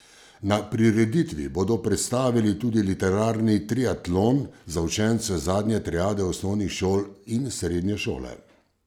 Na prireditvi bodo predstavili tudi literarni triatlon za učence zadnje triade osnovnih šol in srednje šole.